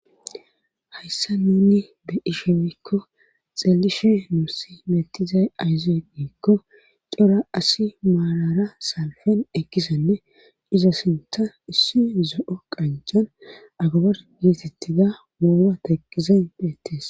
hayssa nuni be' shinikko xeelishe nuusi metizay ayziyeikko cora asi maalara salfen ekkisenne iza sinta issi zo'o qancan agabar geetettida mooma taqqizen beettes